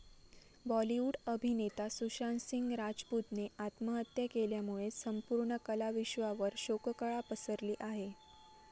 बॉलीवूड अभिनेता सुशांत सिंग राजपूतने आत्महत्या केल्यामुळे संपूर्ण कलाविश्वावर शोककळा पसरली आहे.